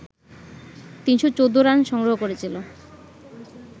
৩১৪ run সংগ্রহ করেছিল